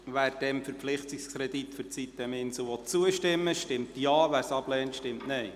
Wer dem Verpflichtungskredit für die sitem-Insel zustimmen will, stimmt Ja, wer diesen ablehnt, stimmt Nein.